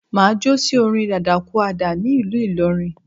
Máà jo sí orin dadakúàdà ní ìlú ìlọrin